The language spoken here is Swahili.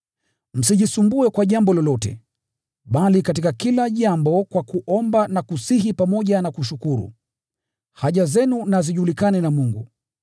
Msijisumbue kwa jambo lolote, bali katika kila jambo kwa kuomba na kusihi pamoja na kushukuru, haja zenu na zijulikane na Mungu.